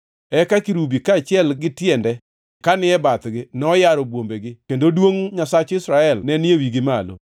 Eka kerubi, kaachiel gi tiende ka ni e bathgi, noyaro bwombegi, kendo duongʼ mar Nyasach Israel ne ni e wigi gimalo.